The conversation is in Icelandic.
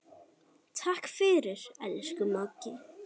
Takk fyrir, elsku Maggi.